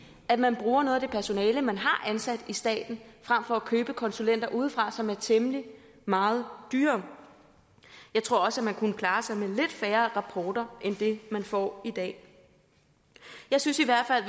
at man bruger noget af det personale man har ansat i staten frem for at købe konsulenter udefra som er temmelig meget dyrere jeg tror også man kunne klare sig med lidt færre rapporter end man får i dag jeg synes i hvert fald